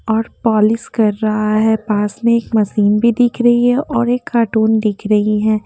और पॉलिश कर रहा है पास में एक मशीन भी दिख रही हैऔर एक कार्टून दिख रही है।